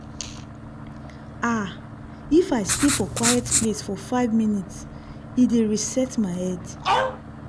ah- if i stay for quiet place for five minute e dey reset my head.